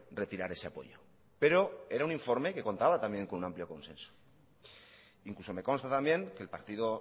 retirar ese apoyo pero era un informe que contaba también con un amplio consenso incluso me consta también que el partido